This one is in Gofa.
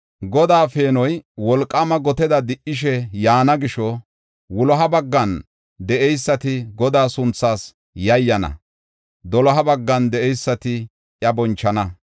Godaa peenoy wolqaama goteda di77ishe yaana gisho, wuloha baggan de7eysati Godaa sunthaas yayyana; doloha baggan de7eysati iya bonchana.